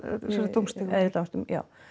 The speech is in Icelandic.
dómstigum á æðri dómstigum já